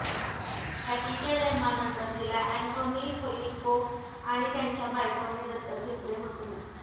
कॅटीच्या जन्मानंतर तिला Anthony Fusco आणि त्यांच्या बायकोने दत्तक घेतले होते